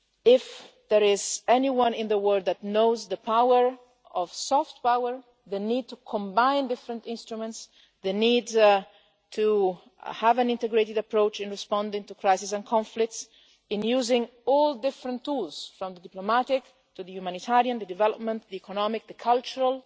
If there is anyone in the world that knows the power of soft power, the need to combine different instruments, the need to have an integrated approach in responding to crises and conflicts, in using all different tools from the diplomatic to the humanitarian, development, economic and cultural,